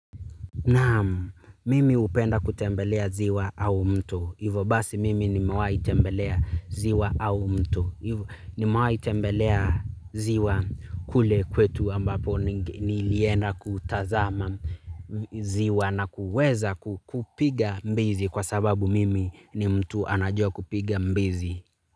Naamu, mimi hupenda kutembelea ziwa au mto. Ivo basi mimi nimewahitembelea ziwa au mto. Nimewahi tembelea ziwa kule kwetu ambapo nilienda kutazama ziwa na kuweza kupiga mbizi kwa sababu mimi ni mtu anajua kupiga mbizi.